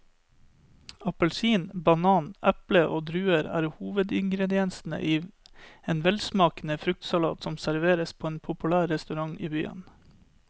Appelsin, banan, eple og druer er hovedingredienser i en velsmakende fruktsalat som serveres på en populær restaurant i byen.